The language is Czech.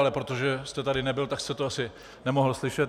Ale protože jste tady nebyl, tak jste to asi nemohl slyšet.